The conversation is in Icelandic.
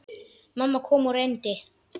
Mamma kom og reyndi.